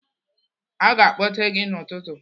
Aga akpọte gị n'ụtụtụ.